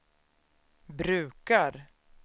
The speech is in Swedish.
brukar